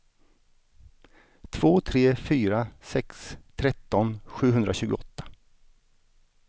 två tre fyra sex tretton sjuhundratjugoåtta